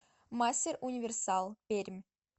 мастер универсал пермь